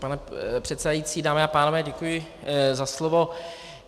Pane předsedající, dámy a pánové, děkuji za slovo.